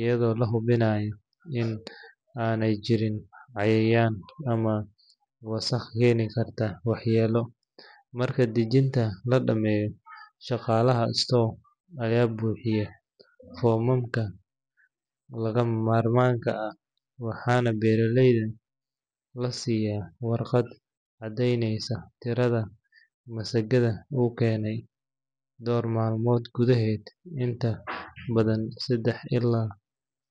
iyadoo la hubinayo in aanay jirin cayayaan ama wasakh keeni kara waxyeello. Marka dejinta la dhammeeyo, shaqaalaha store ayaa buuxiya foomamka lagama maarmaanka ah, waxaana beeralaha la siiyaa warqad caddeyneysa tirada masagada uu keenay. Dhowr maalmood gudaheed – inta badan saddex ilaa shan maalmood.